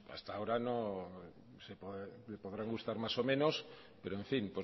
hasta ahora no le podrán gustar más o menos pero en fin